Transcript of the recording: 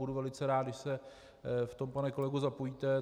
Budu velmi rád, když se v tom, pane kolego, zapojíte.